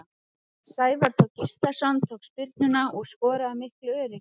Sævar Þór Gíslason tók spyrnuna og skoraði af miklu öryggi.